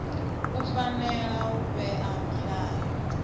u fanela u vhea milayo